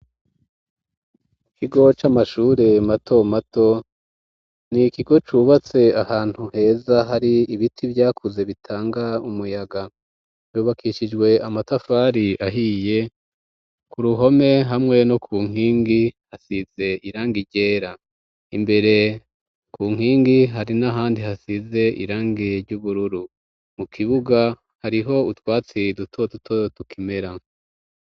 Ikigo c'amashure mato mato ni ikigo cubatse ahantu heza hari ibiti vyakuze bitanga umuyaga. Hubakishijwe amatafari ahiye, ku ruhome hamwe no ku nkingi hasize irangi ryera imbere ku nkingi hari n'ahandi hasize irangi ry'ubururu. Mu kibuga hariho utwatsi duto tuto tukimera.